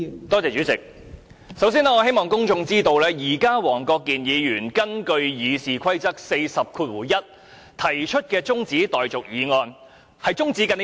代理主席，首先，我希望公眾知道，現在黃國健議員根據《議事規則》第401條提出的中止待續議案是中止甚麼？